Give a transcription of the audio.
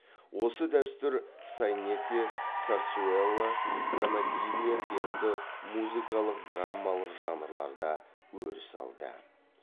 осы дәстүр сайнете сарсуэлла тонадилья сияқты музыкалық драммалық жанрлар да өріс алды